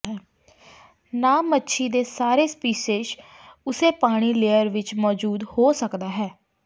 ਨਾ ਮੱਛੀ ਦੇ ਸਾਰੇ ਸਪੀਸੀਜ਼ ਉਸੇ ਪਾਣੀ ਲੇਅਰ ਵਿੱਚ ਮੌਜੂਦ ਹੋ ਸਕਦਾ ਹੈ